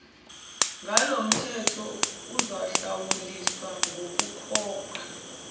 ngolomthetho uzohlawuliswa ngokukhokha